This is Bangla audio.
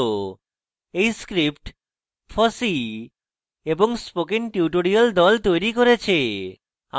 এই script fossee এবং spoken tutorial the তৈরী করেছে